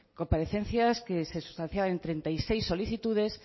comparecencias que se sustanciaban en treinta y seis solicitudes